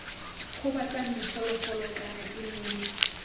gobatsang diphologolo kana ii nne